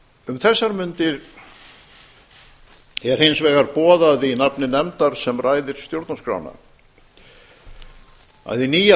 um þessar mundir er hins vegar boðað í nafni nefndar sem ræðir stjórnarskrána að hið nýja